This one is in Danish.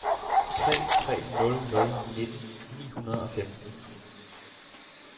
tre tre nul nul nitten ni hundrede og femten